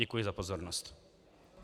Děkuji za pozornost.